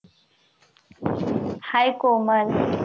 hi Komal